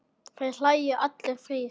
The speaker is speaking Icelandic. Þeir hlæja allir þrír.